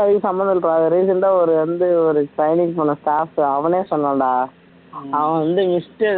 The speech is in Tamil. அதுக்கும் சம்பந்தம் இருக்கா recent ஒரு வந்து ஒரு அவனே சொன்னான்டா அவன் வந்து mister